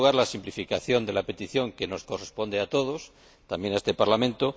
En primer lugar, la simplificación de la petición que nos corresponde a todos —también a este Parlamento—.